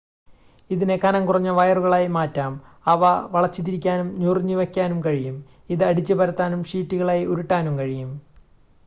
ഇതിനെ കനം കുറഞ്ഞ വയറുകളായി മാറ്റാം അവ വളച്ചുതിരിക്കാനും ഞൊറിഞ്ഞ് വയ്ക്കാനും കഴിയും ഇത് അടിച്ചു പരത്താനും ഷീറ്റുകളായി ഉരുട്ടാനും കഴിയും